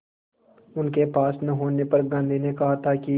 उनके पास न होने पर गांधी ने कहा था कि